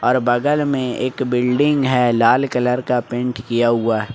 और बगल में एक बिल्डिंग है लाल कलर का पेंट किया हुआ।